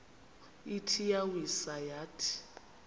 ithi iyawisa yathi